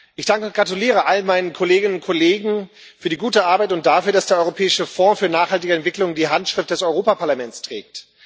Ich danke und gratuliere allen meinen Kolleginnen und Kollegen für die gute Arbeit und dafür, dass der Europäische Fonds für nachhaltige Entwicklung die Handschrift des Europäischen Parlaments trägt.